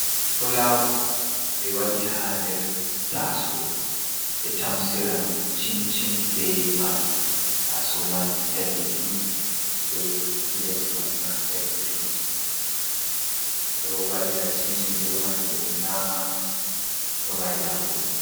Fulawa ɓe waɗi ha nder taso ɓe tamsiran cimcim be majum. taso man danejum be pilet man ma danejum. ɓeɗo waɗira cimcim be man ɓeɗo nyama ɗo marinafu.